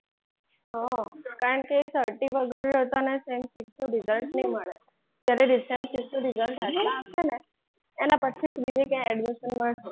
હા કારણ કે certify વગર તને result નહીં મળે. જ્યારે result હાથમાં આવશે ને એના પછી જ બીજે ક્યાંક admission મળશે.